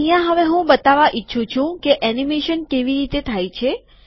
અહીંયા હવે હું બતાવવા ઈચ્છું છું કે એનીમેશન કેવી રીતે થાય છે